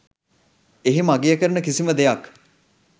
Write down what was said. එහෙම අගය කරන කිසිම දෙයක්